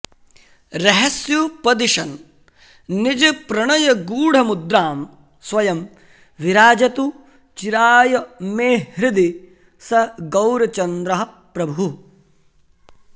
रहस्युपदिशन् निजप्रणयगूढमुद्रां स्वयं विराजतु चिराय मे हृदि स गौरचन्द्रः प्रभुः